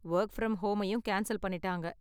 Work from ஹோமையும் cancel பண்ணிட்டாங்க.